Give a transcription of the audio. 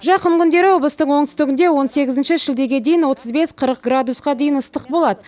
жақын күндері облыстың оңтүстігінде он сегізінші шілдеге дейін отыз бес қырық градусқа дейін ыстық болады